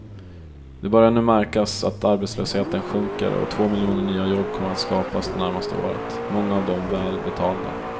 Det börjar nu märkas att arbetslösheten sjunker och två miljoner nya jobb kommer att skapas det närmaste året, många av dem väl betalda.